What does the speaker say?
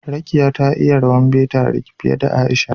Rekiya ta iya rawan Bata fiye da Aisha